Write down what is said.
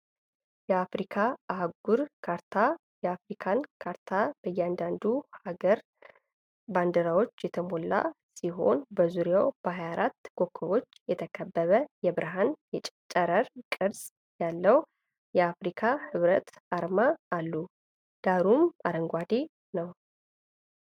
የአፍሪካ አህጉር ካርታን ። የአፍሪካ ካርታ በእያንዳንዱ ሀገር ባንዲራ የተሞላ ሲሆን፣ በዙሪያው በ24 ኮከቦች የተከበበ የብርሃን ጨረር ቅርጽ ያለው የአፍሪካ ሕብረት አርማ አለ። ዳራው አረንጓዴ ነው።